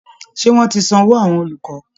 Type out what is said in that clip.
Ṣé wọ́n ti sanwó àwọn olùkọ́